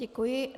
Děkuji.